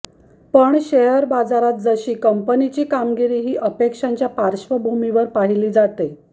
पण शेअर बाजारात जशी कंपनीची कामगिरी ही अपेक्षांच्या पार्श्वभूमीवर पाहिली जाते